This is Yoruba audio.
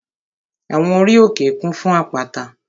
Àwọn ori òkè kún fún àpáta